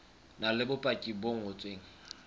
na le bopaki bo ngotsweng